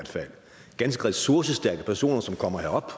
ganske ressourcestærke personer som kommer herop